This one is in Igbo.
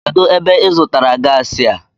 Kedụ ebe ịzụtara gaasi a?